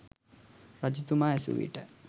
රජතුමා ඇසූවිට